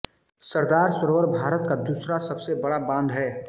सरदार सरोवर भारत का दूसरा सबसे बड़ा बांध है